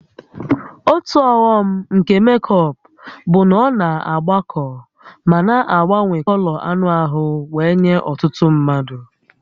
Otu ọghọm nke mékọpụ bụ na ọ na-agbakọ ma na-agbanwe kọlọ anụ ahụ wee nye ọtụtụ mmadụ